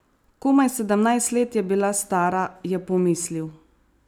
Komaj sedemnajst let je bila stara, je pomislil.